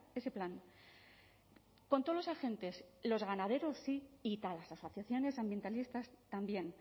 ese plan con todos los agentes los ganaderos y todas las asociaciones ambientalistas también